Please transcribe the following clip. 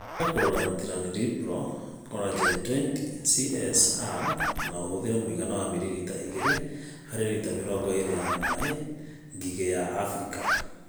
Huhĩrĩria Chlorantraniliprol (Corragen 20 SC (R)) na ũhũthĩre mũigana wa mililita igĩrĩ harĩ Lita mĩrongo ĩrĩ ya maĩ. Ngigĩ ya Afrika